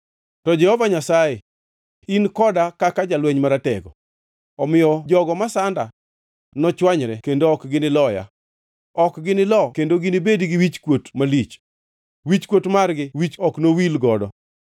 To Jehova Nyasaye ni koda kaka jalweny maratego; omiyo jogo masanda nochwanyre kendo ok giniloya. Ok ginilo kendo ginibedi gi wichkuot malich; wichkuot margi wich ok nowil godo.